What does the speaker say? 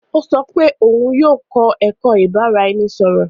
O sọ pe òun yóò kọ ẹkọ ibaraẹnisọrọ.